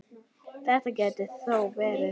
Það gæti þó verið.